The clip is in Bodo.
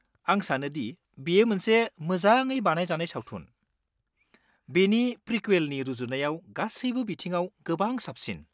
आं सानोदि बेयो मोनसे मोजाङै बानायजानाय सावथुन, बेनि प्रिकुएलनि रुजुनायाव गासैबो बिथिङाव गोबां साबसिन।